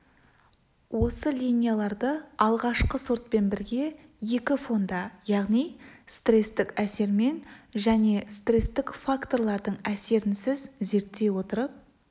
осы линияларды алғашқы сортпен бірге екі фонда яғни стрестік әсермен және стрестік факторлардың әсерінсіз зерттей отырып